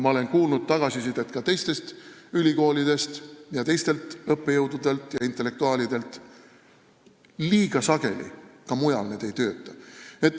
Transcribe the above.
Ma olen kuulnud tagasisidet ka teistest ülikoolidest, teistelt õppejõududelt ja intellektuaalidelt: liiga sageli need ka mujal ei tööta.